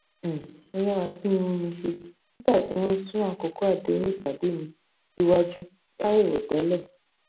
um mo yára tún irun mi ṣe nígbà tí wọn sún àkókò àdéhùn ìpàdé mi síwájú láì rò tẹlẹ